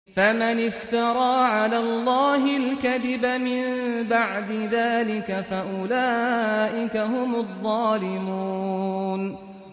فَمَنِ افْتَرَىٰ عَلَى اللَّهِ الْكَذِبَ مِن بَعْدِ ذَٰلِكَ فَأُولَٰئِكَ هُمُ الظَّالِمُونَ